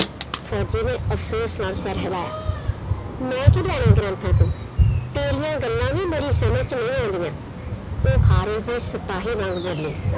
ਫੌਜੀ ਨੇ ਅਫ਼ਸੋਸ ਨਾਲ ਸਿਰ ਹਿਲਾਇਆ। ਮੈਂ ਕੀ ਲੈਣਾ ਗ੍ਰੰਥਾਂ ਤੋਂ ਤੇਰੀਆਂ ਗੱਲਾਂ ਹੀ ਮੇਰੀ ਸਮਝ ਚ ਨਹੀਂ ਆਉਂਦੀਆਂ, ਉਹ ਹਾਰੇ ਹੋਏ ਸਿਪਾਹੀ ਵਾਂਗ ਬੋਲੀ।